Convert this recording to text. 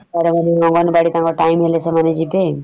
ସାଡେ ମାନେ ଅଙ୍ଗନବାଡି ତାଙ୍କ time ହେଲେ ସେମାନେ ଯିବେ ।